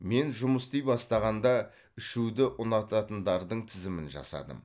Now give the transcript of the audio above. мен жұмыс істей бастағанда ішуді ұнататындардың тізімін жасадым